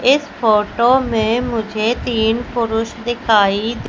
इस फोटो में मुझे तीन पुरुष दिखाई--